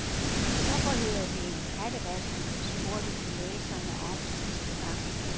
Hvorfor hedder det en kattevask, spurgte vi læserne om sidste gang.